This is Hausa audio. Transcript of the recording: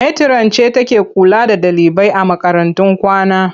Metiran ce take kula da ɗalibai a makarantun kwana.